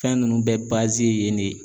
Fɛn ninnu bɛɛ yen de.